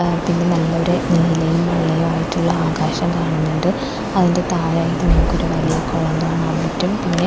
പിന്നെ നല്ലൊരു നീലയും വെള്ളയും ആയിട്ടുള്ള ആകാശം കാണുന്നുണ്ട് അതിന്റെ താഴെയായിട്ട് നമുക്ക് ഒരു വലിയ കൊളം കാണാൻ പറ്റും പിന്നെ--